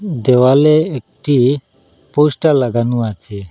দেওয়ালে একটি পোস্টার লাগানো আছে।